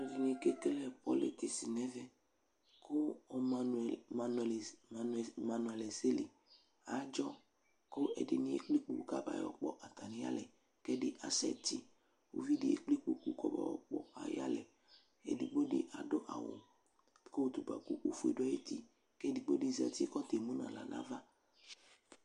Ɛdɩniɩ kekele politics n'ɛvɛ kʋ ɔmanʋalɛ, manʋalɛ manʋalɛsɛli adzɔ kʋ ɛdɩnɩ yekple ikpoku kana yɔkpɔ atamɩ yalɛ, ɛdɩ asɛtɩ, ividɩ ekple ikpoku kɔ mayɔ ay'iyalɛ, edigbodɩ adʋ awʋ kɔdu bua kʋ ofue dʋ ayuti, k'edigbodɩ zati k'ɔta emʋ nʋ aɣla n'ava